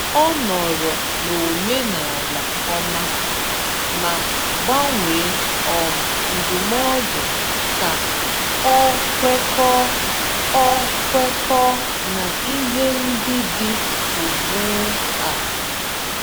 Ọ nọọrọ n’omenala ọma, ma gbanwee um ndụmọdụ ka ọ kwekọọ ọ kwekọọ na ihe ndị dị ugbu a.